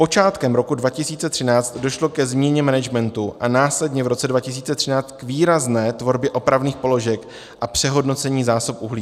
Počátkem roku 2013 došlo ke změně managementu a následně v roce 2013 k výrazné tvorbě opravných položek a přehodnocení zásob uhlí.